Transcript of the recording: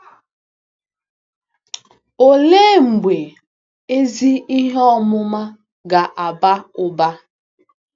Olee mgbe ezi ihe ọmụma ga-aba ụba?